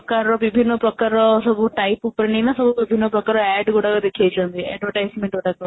ତାର ବିଭିନ୍ନ ପ୍ରକାର ସବୁ type ଉପରେ ନାଇଁ ନା ସବୁ ଭିଭିନ୍ନ ପ୍ରକାର ADD ଗୁଡାକ ଦେଖାଇ ଛନ୍ତି advertisement ଗୁଡାକ